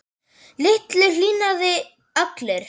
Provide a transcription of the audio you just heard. Lillu hlýnaði allri.